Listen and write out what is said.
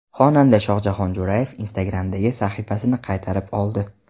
Xonanda Shohjahon Jo‘rayev Instagram’dagi sahifasini qaytarib oldi.